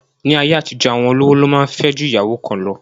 Ní ayé àtijọ́, àwọn olówó lo máa ń fẹ́ ju ìyàwó kan lọ